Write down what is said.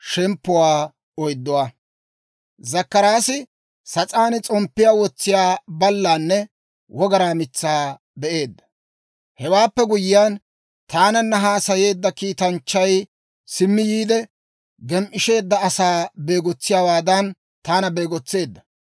Hewaappe guyyiyaan, taananna haasayeedda kiitanchchay simmi yiide, gem"ishsheedda asaa beegotsiyaawaadan, taana beegotseedda.